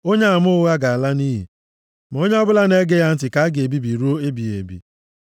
Onyeama ụgha ga-ala nʼiyi, ma onye ọbụla na-ege ya ntị ka a ga-ebibi ruo ebighị ebi.